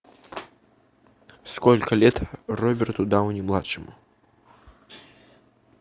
сколько лет роберту дауни младшему